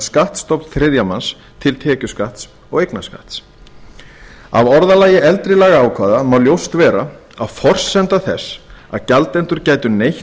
skattstofn þriðja manns til tekjuskatts og eignarskatt af orðalagi eldri lagaákvæða má ljóst vera að forsenda þess að gjaldendur gætu neytt